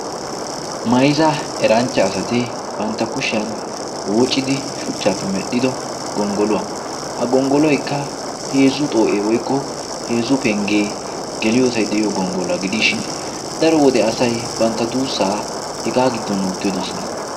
mayza eranchcha asati bantta kushiyan woocidi shuchchaappe medhdhido gonggoluwaa a gonggoloykka heezzu xoo'ee woykko heezzu penggee geliyoosay deyiyo gonggoluwaa gidiishin daro wode asay bantta duussaa hegaa giddon oottidosona